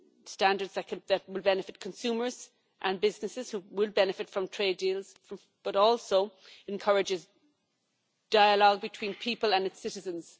standards that will benefit consumers and businesses who will benefit from trade deals, but also encourage dialogue between people and citizens.